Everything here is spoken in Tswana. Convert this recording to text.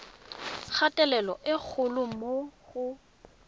kgatelelo e kgolo mo go